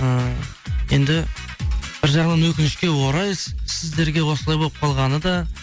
ыыы енді бір жағынан өкінішке орай сіздерге осылай болып қалғаны да